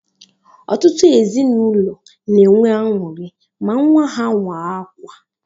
Ọtụtụ ezinụlọ n'enwe añụri ma nwa ha waa akwa